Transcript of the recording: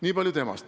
Nii palju temast.